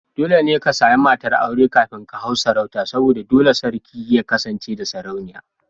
Dole ne ka sami matar aure kafin ka hau sarauta saboda dole ne sarki ya kasance da Sarauniya.